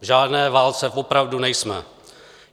V žádné válce opravdu nejsme.